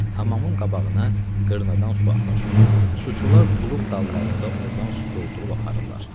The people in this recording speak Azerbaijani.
Hamamın qabağına qırnadan su axır, suçular tuluq dallarında ordan su doldurub aparırlar.